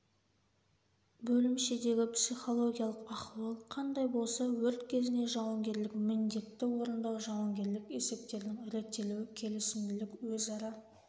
бөлімшедегі психологиялық ахуал қандай болса өрт кезінде жауынгерлік міндетті орындау жауынгерлік есептердің реттелуі келісімділік өзара